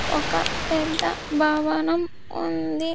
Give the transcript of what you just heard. ఒక పెద్ద భావనం ఉంది.